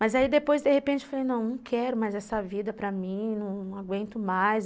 Mas aí depois, de repente, eu falei, não, não quero mais essa vida para mim, não aguento mais.